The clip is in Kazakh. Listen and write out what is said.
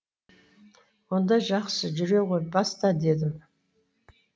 онда жақсы жүре ғой баста дедім